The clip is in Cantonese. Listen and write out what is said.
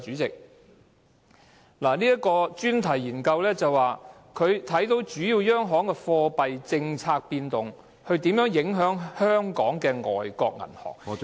這項專題研究談及主要央行的貨幣政策變動如何影響香港的外國銀行......